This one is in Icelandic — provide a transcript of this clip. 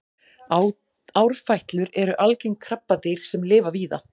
árfætlur eru algeng krabbadýr sem lifa víða